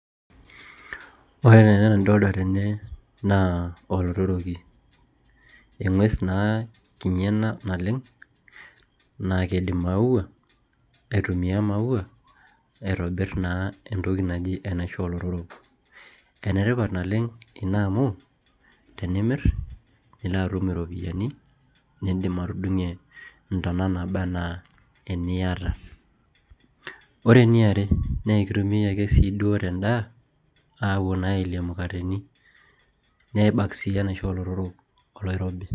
ore taa ena nidolita tene naa olotoroki eng'ues naa ena kinyi oleng' naaked imaua aitumia imaua aitobirr naa entoki naji enaisho oo lotorok ene tipat naa ena amu tenimirr nilo atum iropiyiani niidim atudung'ie intona naaba anaa iniata ore eniare naa ekitumiai sii duo ake te ndaa aapuo naa aelie imukateni nebak sii enaisho oo lotorok oloirobi